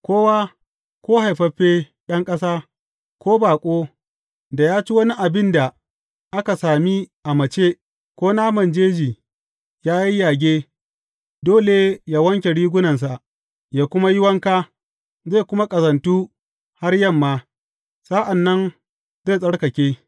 Kowa, ko haifaffe ɗan ƙasa ko baƙo, da ya ci wani abin da aka sami a mace, ko naman jeji ya yayyage, dole yă wanke rigunansa, yă kuma yi wanka, zai kuma ƙazantu har yamma; sa’an nan zai tsarkake.